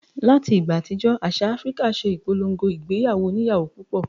Láti ìgbà àtijọ́ àṣà Áfíríkà ṣe ìpolongo ìgbéyàwó oníyàwó púpọ̀